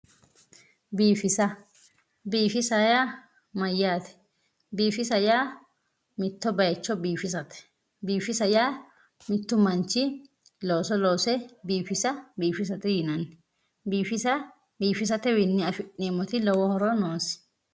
Biifisa biifisa yaa mayyaate? biifisa yaa mitto bayiicho biifisate, biifisa yaa mittu manchi looso loose biifisa biifisate yinanni biifisa biifisatewiinni afi'neemmo horo lowoti noonke